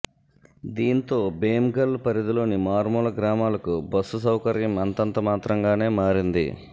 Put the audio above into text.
దీంతో భీమ్గల్ పరిధిలోని మారుమూల గ్రామాలకు బస్సు సౌకర్యం అంతంత మాత్రంగానే మారింది